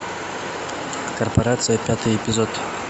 корпорация пятый эпизод